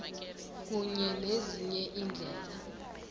kunye nezinye iindlela